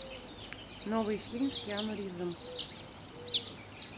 новый фильм с киану ривзом